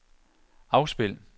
afspil